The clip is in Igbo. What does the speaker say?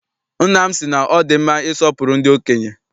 Nna m sị na ọ dị mma isọpụrụ ndị okenye.